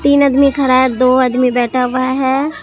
तीन अदमी खड़ा है दो आदमी बैठा हुआ है।